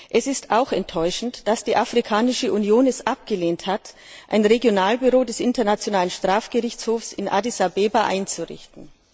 Es ist auch enttäuschend, dass die Afrikanische Union es abgelehnt hat, ein Regionalbüro des Internationalen Strafgerichtshofs in Addis Abeba einzurichten.